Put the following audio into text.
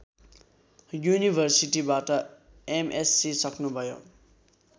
युनिभर्सिटीबाट MSc सक्नुभयो